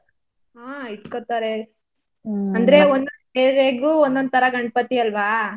ಹಾ ಇಟ್ಕೋತಾರೆ. ಒಂದ್ ಒಂದ್ area ಗು ಒಂದೊಂತರ ಗಣಪತಿ ಅಲ್ವಾ.